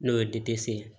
N'o ye ye